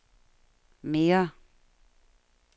mere